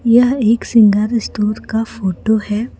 यह एक श्रृंगार स्टोर का फोटो है।